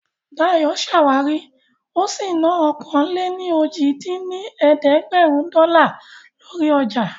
Dayọ̀ ṣàwárí ó sì ná ọ̀kan-lé-ní-ojì dín ní ẹ̀ẹ́dẹ́gbẹ́rún dọ́là lórí ọjà